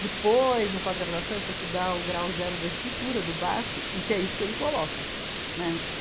Depois, no pós-graduação, eu fui estudar o grau zero da escritura do Barthes e que é isso que ele coloca, né.